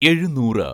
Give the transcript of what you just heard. എഴുന്നൂറ്